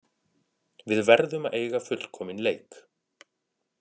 Við verðum að eiga fullkominn leik